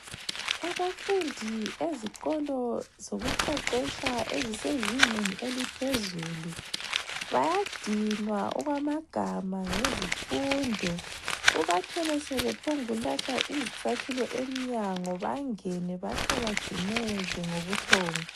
Abafundi ezikolo zokuqeqetsha ezisezingeni eliphezulu bayadinwa okwamagama ngezifundo, ubathole sebephongulahla izicathulo emnyango bangene bahle bajumeke ngobuthongo.